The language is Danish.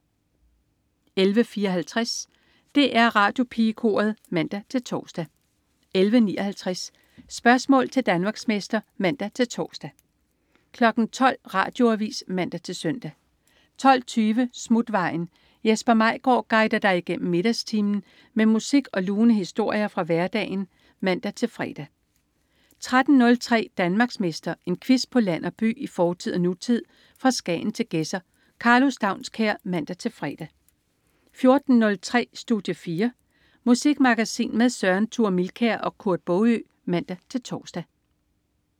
11.54 DR Radiopigekoret (man-tors) 11.59 Spørgsmål til Danmarksmester (man-tors) 12.00 Radioavis (man-søn) 12.20 Smutvejen. Jesper Maigaard guider dig igennem middagstimen med musik og lune historier fra hverdagen (man-fre) 13.03 Danmarksmester. En quiz på land og by, i fortid og nutid, fra Skagen til Gedser. Karlo Staunskær (man-fre) 14.03 Studie 4. Musikmagasin med Søren Thure Milkær og Kurt Baagø (man-tors)